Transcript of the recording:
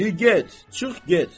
Di get, çıx get.